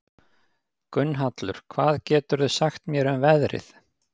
Gunnhallur, hvað geturðu sagt mér um veðrið?